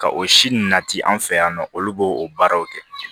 Ka o si ninnu nati an fɛ yan nɔ olu b'o o baaraw kɛ